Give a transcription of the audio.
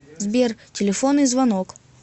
сбер телефонный звонок